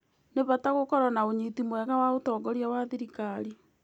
Nĩ bata gũkorwo na ũnyiti mwega wa ũtongoria wa thirikari.